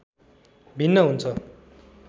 भिन्न हुन्छ